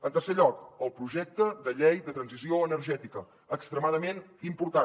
en tercer lloc el projecte de llei de transició energètica extremadament important